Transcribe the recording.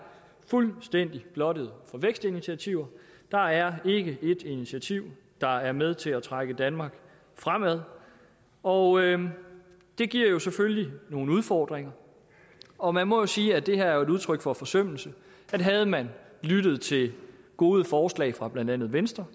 fuldstændig blottet for vækstinitiativer der er ikke ét initiativ der er med til at trække danmark fremad og det giver jo selvfølgelig nogle udfordringer og man må jo sige at det her er et udtryk for forsømmelse at havde man lyttet til gode forslag fra blandt andet venstre